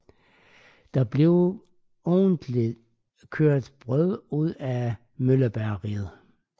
Der blev ugentligt kørt brød ud fra møllebageriet